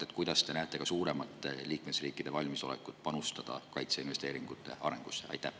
Ja kas te näete, et liikmesriikidel on suurem valmisolek panustada kaitseinvesteeringute arengusse?